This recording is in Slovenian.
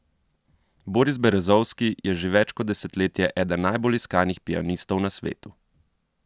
Boris Berezovski je že več kot desetletje eden najbolj iskanih pianistov na svetu.